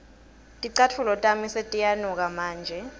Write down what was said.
ticatfulo tami setiyanuka manje